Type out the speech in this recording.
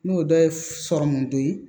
N'o dɔ ye sɔrɔmu dɔ ye